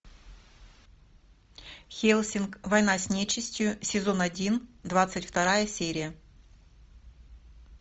хеллсинг война с нечистью сезон один двадцать вторая серия